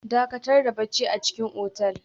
Dakatar da barci a cikin otel